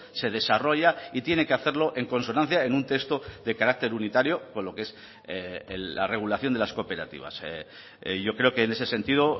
se desarrolla y tiene que hacerlo en consonancia en un texto de carácter unitario con lo que es la regulación de las cooperativas yo creo que en ese sentido